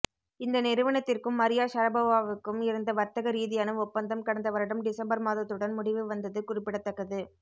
இந்த நிறுவனத்திற்கும் மரியா ஷரபோவாவுக்கும் இருந்த வர்த்தக ரீதியான ஒப்பந்தம் கடந்த வருடம் டிசம்பர் மாதத்துடன் முடிவு வந்தது குறிப்பிடத்தக்கது